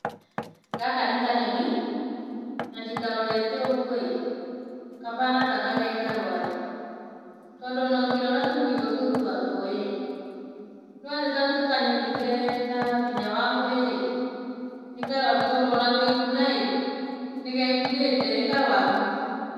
Gaka nĩ kanyoni, na ndĩkarorete ũguo-ĩ, kahana tagaka kekarwaru, tondũ ona ũngĩrora tũmaitho tũu twako-ĩ, nĩwona tita twa kanyoni kena hinya wa mwĩrĩ. Nĩ karwaru tondũ ona kwĩkuna-ĩ, nĩgekunĩte. Nĩkarwaru.